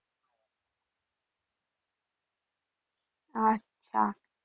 আচ্ছা।